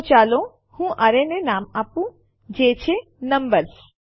તો ચાલો હું એરેને નામ આપું જે નંબર્સ છે